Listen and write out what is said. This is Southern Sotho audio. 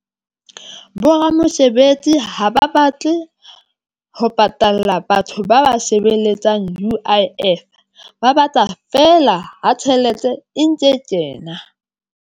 Boramesebetsi ha ba batle ho patalla batho ba ba sebeletsang. U_I_F ba batla fela ha tjhelete e ntse kena.